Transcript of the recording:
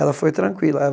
Ela foi tranquila.